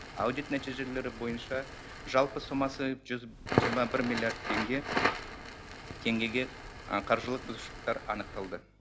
аудит нәтижелері бойынша жалпы сомасы жүз жиырма бір миллиард теңге теңгеге қаржылық бұзушылықтар анықталды